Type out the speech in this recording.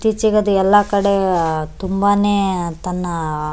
ಇತ್ತೀಚಿಗೆ ಅದು ಎಲ್ಲ ಕಡೆ ತುಂಬಾನೇ ತನ್ನ --